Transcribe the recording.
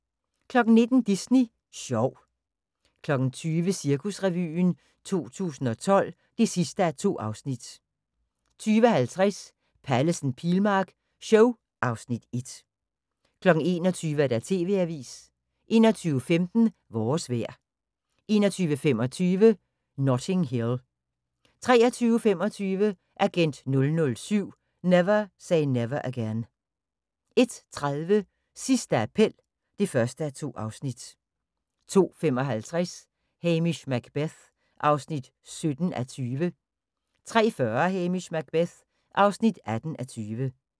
19:00: Disney sjov 20:00: Cirkusrevyen 2012 (2:2) 20:50: Pallesen/Pilmark show (Afs. 1) 21:00: TV-avisen 21:15: Vores vejr 21:25: Notting Hill 23:25: Agent 007 - Never Say Never Again 01:30: Sidste appel (1:2) 02:55: Hamish Macbeth (17:20) 03:40: Hamish Macbeth (18:20)